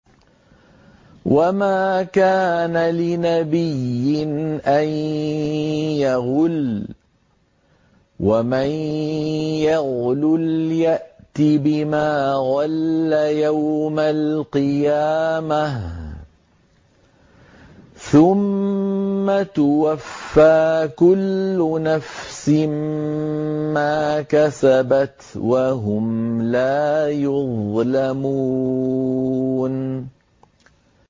وَمَا كَانَ لِنَبِيٍّ أَن يَغُلَّ ۚ وَمَن يَغْلُلْ يَأْتِ بِمَا غَلَّ يَوْمَ الْقِيَامَةِ ۚ ثُمَّ تُوَفَّىٰ كُلُّ نَفْسٍ مَّا كَسَبَتْ وَهُمْ لَا يُظْلَمُونَ